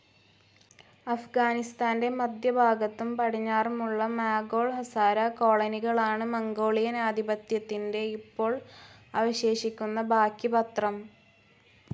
അഫ്‌ഗാനിസ്ഥാൻ്റെ മധ്യഭാഗത്തും പടിഞ്ഞാറുമുള്ള മാഗോൾ ഹസാര കോളോണികളാണ് മംഗോളിയൻ ആധിപത്യത്തിൻ്റെ ഇപ്പോൾ അവശേഷിക്കുന്ന ബാക്കിപത്രം.